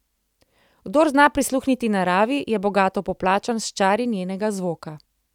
Kdor zna prisluhniti naravi, je bogato poplačan s čari njenega zvoka.